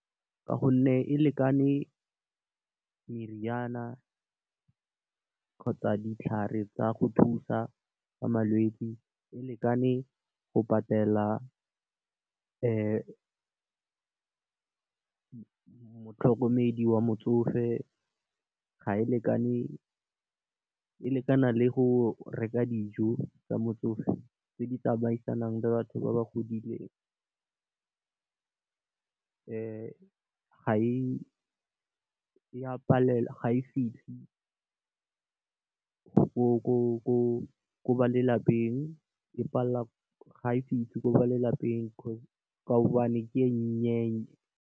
Ka gonne e lekane meriana, kgotsa ditlhare tsa go thusa ka malwetsi, e lekane go patela motlhokomedi wa motsofe e lekana le go reka dijo tsa motsofe tse di tsamaisanang le batho ba ba godileng ga e fitlhe ko ba lelapeng ka gobane ke e nnye.